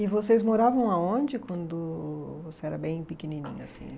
E vocês moravam aonde quando você era bem pequenininho, assim?